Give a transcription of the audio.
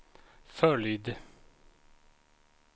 följd